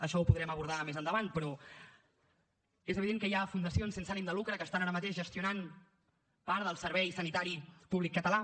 això ho podrem abordar més endavant però és evident que hi ha fundacions sense ànim de lucre que estan ara mateix gestionant part del servei sanitari públic català